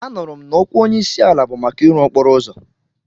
Anụrụ m na okwu onyeisiala bụ maka ịrụ okporo ụzọ.